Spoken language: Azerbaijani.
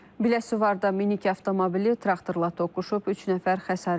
Biləsuvarda minik avtomobili traktorla toqquşub, üç nəfər xəsarət alıb.